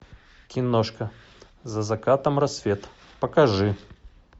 киношка за закатом рассвет покажи